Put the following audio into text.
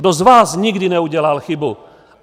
Kdo z vás nikdy neudělal chybu?